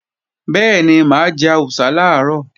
Bẹ́ẹ̀ni, mà á jẹ àwùsá làárọ̀